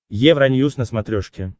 евроньюс на смотрешке